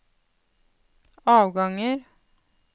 avganger